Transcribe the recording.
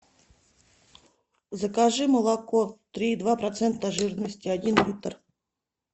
закажи молоко три и два процента жирности один литр